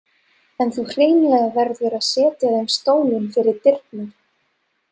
En þú hreinlega verður að setja þeim stólinn fyrir dyrnar.